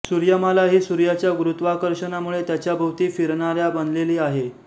सूर्यमाला ही सूर्याच्या गुरुत्वाकर्षणामुळे त्याच्या भोवती फिरणाऱ्या बनलेली आहे